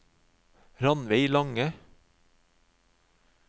Ranveig Lange